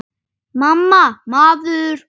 MAMMA, maður!